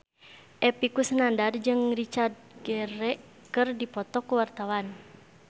Epy Kusnandar jeung Richard Gere keur dipoto ku wartawan